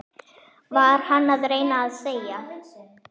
Var hann að reyna að segja